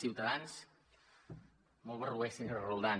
ciutadans molt barroers senyora roldán